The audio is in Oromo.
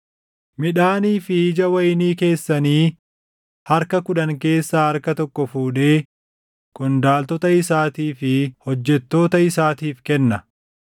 Midhaanii fi ija wayinii keessanii harka kudhan keessaa harka tokko fuudhee qondaaltota isaatii fi hojjettoota isaatiif kenna.